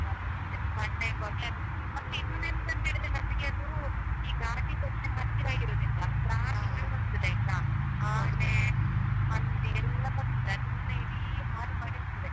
ಅದೆ ಅದೆ ಅದು. ಮತ್ತೆ ಇನ್ನೊಂದು ಎಂತಂತಾ ಹೇಳಿದ್ರೆ ನಮ್ಗೆ ಅದೂ ಈ ಘಾಟಿ section ಹತ್ತಿರ ಇರುದ್ರಿಂದ ಬರ್ತದೆ ಆಯ್ತಾ. ಆನೆ ಹಂದಿ ಎಲ್ಲ ಬರ್ತದೆ ಅದನ್ನೆ ಇಡೀ ಹಾಳ್ ಮಾಡಿ ಹಾಕ್ತದೆ.